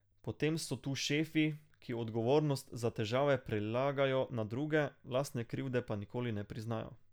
Potem so tu šefi, ki odgovornost za težave prelagajo na druge, lastne krivde pa nikoli ne priznajo.